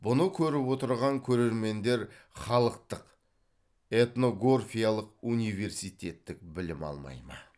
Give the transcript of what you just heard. бұны көріп отырған көрермендер халықтық этногорфиялық университеттік білім алмай ма